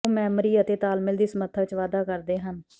ਉਹ ਮੈਮੋਰੀ ਅਤੇ ਤਾਲਮੇਲ ਦੀ ਸਮੱਰਥਾ ਵਿੱਚ ਵਾਧਾ ਕਰਦੇ ਹਨ